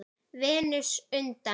Venus undan